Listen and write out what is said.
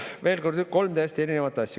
Veel kord: kolm täiesti erinevat asja.